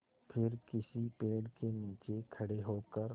फिर किसी पेड़ के नीचे खड़े होकर